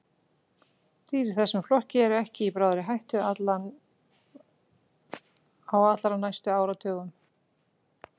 Dýr í þessum flokki eru ekki í bráðri hættu á allra næstu áratugum.